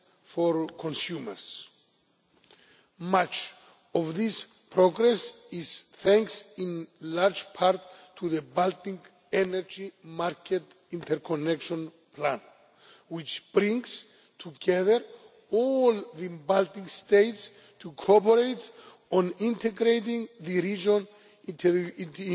for consumers. Much of this progress is thanks in large part to the Baltic Energy Market Interconnection Plan, which brings together all the Baltic states to cooperate on integrating the region into